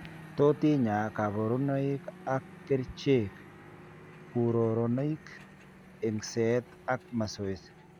Tot inyaa kaborunoik ak kercheek, kuroronik, eng'seet ak masoesi